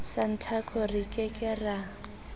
santaco re ke ke ra